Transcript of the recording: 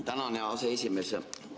Tänan, hea aseesimees!